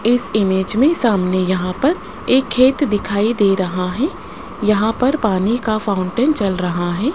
इस इमेज में सामने यहां पर एक खेत दिखाई दे रहा हैं यहां पर पानी का फाउंटेन चल रहा हैं।